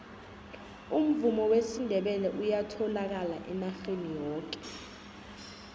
umvumo wesindebele uyatholakal enarheni yoke